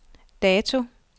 dato